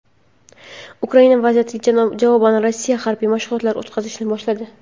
Ukrainadagi vaziyatga javoban Rossiya harbiy mashg‘ulotlar o‘tkazishni boshladi.